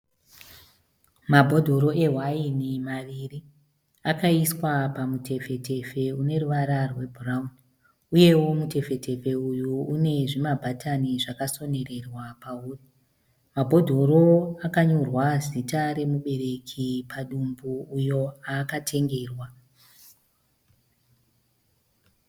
Mabhodhoro ewaini maviri akaiswa pamutepfetepfe une ruvara rwebhurauni uyewo mutepfetepfe uyu une zvimabatani zvakasonerwa pauri. Mabhodhoro akanyorwa zita remubereki padumbu uyo aakatengerwa.